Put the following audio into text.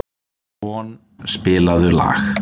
Von, spilaðu lag.